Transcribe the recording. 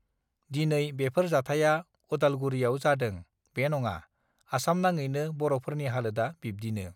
दिनै बेफोर जाथाइया अदालगुारियावजादों बे नङा आसामनाङैनो बरफोरनि हालोदा बिब्दिनो